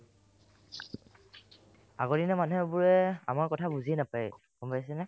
আগৰ দিনৰ মানুহে বোলে আমাৰ কথা বুজিয়ে নাপাই গম পাইছানে ?